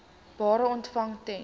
bedrae ontvang ten